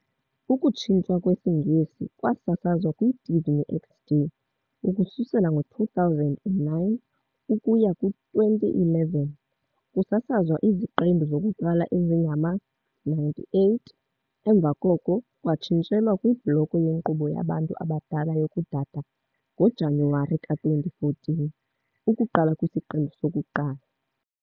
Ukutshintshwa kwesiNgesi kwasasazwa kwiDisney XD ukusukela ngo-2009 ukuya ku-2011, kusasazwa iziqendu zokuqala ezingama-98, emva koko kwatshintshelwa kwibloko yenkqubo yabantu abadala yokuDada ngoJanuwari ka-2014, ukuqala kwisiqendu sokuqala.